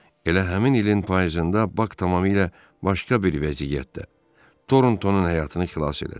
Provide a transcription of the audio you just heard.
Elə həmin ilin payızında Bak tamamilə başqa bir vəziyyətdə Torntonun həyatını xilas elədi.